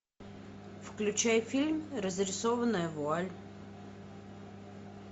включай фильм разрисованная вуаль